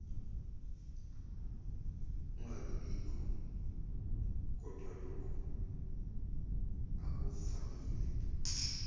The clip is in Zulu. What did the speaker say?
ungabibikho kodwalokhu akuvamile